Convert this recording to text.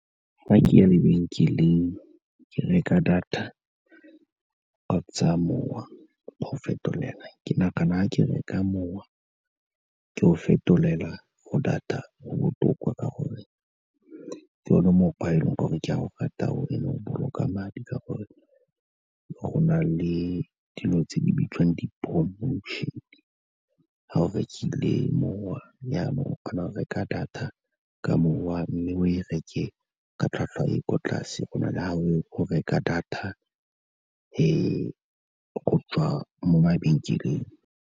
Fa ke ya lebenkeleng ke reka data kgotsa mowa go fetolela, ke nagana fa ke reka mowa ke o fetolela go data go botoka, ka gore ke one mokgwa o e leng gore ke a o rata o and-e o boloka madi ka gore go na le dilo tse di bitswang di-promotion-e. Ga o rekile mowa jaanong o kgona go reka data ka mowa mme o e reke ka tlhwatlhwa e ko tlase, go na le fa o reka data go tswa mo mabenkeleng.